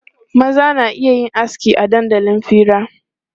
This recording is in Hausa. Maza na iya yin aski a dandalin fira.